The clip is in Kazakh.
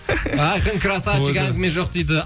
айқын красавчик әңгіме жоқ дейді